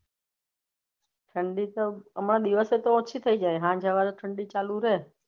ઠંડી તો હમણાં દિવસે તો ઓછી થઇ જાય હાંજ હવારે ઠંડી ચાલુ રેહ.